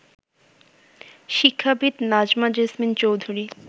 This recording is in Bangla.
শিক্ষাবিদ নাজমা জেসমিন চৌধুরী